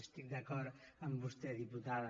estic d’acord amb vostè diputada